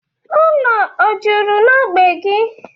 Ụlọ o juru n'ógbè gị?